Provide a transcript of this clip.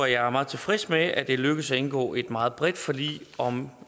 at jeg er meget tilfreds med at det er lykkedes at indgå et meget bredt forlig om